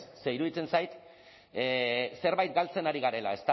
ze iruditzen zait zerbait galtzen ari garela